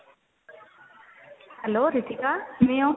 hello Ritika ਕਿਵੇਂ ਹੋ